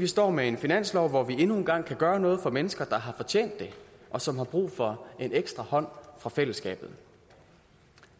vi står med en finanslov hvor vi endnu en gang kan gøre noget for mennesker der har fortjent det og som har brug for en ekstra hånd fra fællesskabet